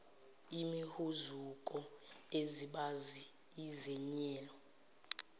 imihuzuko izibazi izenyelo